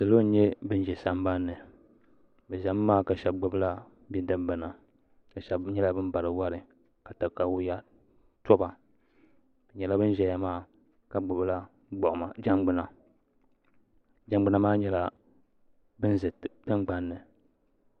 Salo n nyɛ ban ʒɛ sambanni bɛ ʒɛmi maa ka sheba gbibila bidibina ka sheba nyɛla bin bari wari ka takawiya toba bɛ nyɛla bin ʒɛya maa ka gbibila jangbina jangbina maa nyɛla bin za tingbanni.